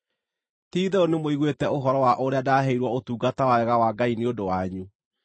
Ti-itherũ nĩmũiguĩte ũhoro wa ũrĩa ndaheirwo ũtungata wa wega wa Ngai nĩ ũndũ wanyu,